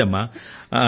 మంచిదమ్మా